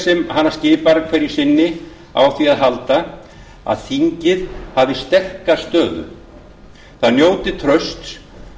sem hana skipar hverju sinni á því að halda að þingið hafi sterka stöðu það njóti trausts